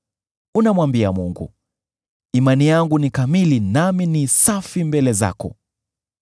Unamwambia Mungu, ‘Imani yangu ni kamili nami ni safi mbele zako.’